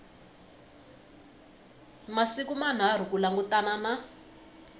masiku manharhu ku langutana na